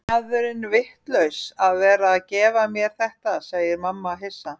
Er maðurinn vitlaus að vera að gefa mér þetta, segir mamma hissa.